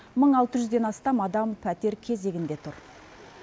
мың алты жүзден астам адам пәтер кезегінде тұр